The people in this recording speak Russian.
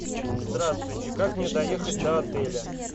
здравствуйте как мне доехать до отеля